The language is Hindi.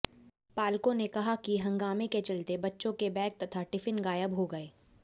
पालकों ने कहा कि हंगामे के चलते बच्चों के बैग तथा टिफिन गायब हो गए